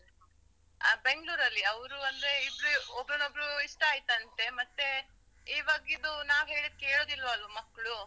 ಆ ಬೆಂಗ್ಲೂರಲ್ಲಿ. ಅವ್ರು ಅಂದ್ರೆ ಇಬ್ಬ್ರೂ ಒಬ್ಬ್ರನ್ನೋಬ್ಬ್ರು ಇಷ್ಟ ಆಯ್ತಂತೆ. ಮತ್ತೇ, ಇವಾಗಿದು ನಾವ್ ಹೇಳುದ್ ಕೇಳುದಿಲ್ಲಾ ಅಲ್ವ ಮಕ್ಕ್ಳು.